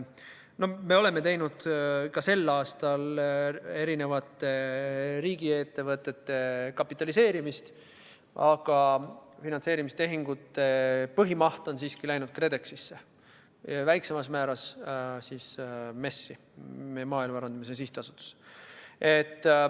Me oleme sel aastal mitmeid riigiettevõtteid kapitaliseerinud, aga finantseerimistehingute põhimaht on siiski läinud KredExisse, väiksemal määral ka Maaelu Edendamise Sihtasutusse.